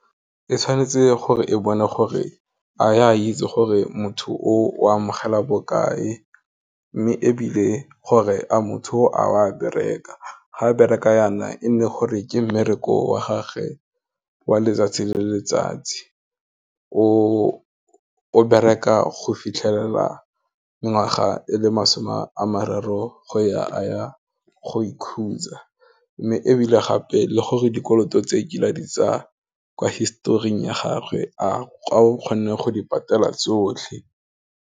E tshwanetse gore e bone gore, a ya itse gore motho o a mogela bokae, mme ebile gore a motho a wa bereka, ga bereka yana, e nne gore ke mmereko wa gagwe wa letsatsi le letsatsi, o bereka go fitlhelela ngwaga e le masome a mararo go ya, a ya go ikhutsa, mme ebile gape, le gore dikoloto tse e kileng di tsa, kwa historing ya gagwe a o kgone go di patela tsotlhe.